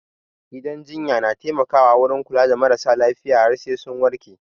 Gidan jinya na taimaka wurin kula da maras lafiya har sai sun warke